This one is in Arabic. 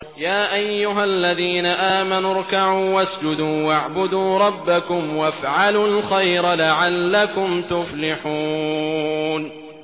يَا أَيُّهَا الَّذِينَ آمَنُوا ارْكَعُوا وَاسْجُدُوا وَاعْبُدُوا رَبَّكُمْ وَافْعَلُوا الْخَيْرَ لَعَلَّكُمْ تُفْلِحُونَ ۩